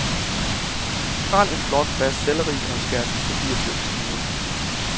Skræl en flot, fast selleri og skær den i papirtynde skiver.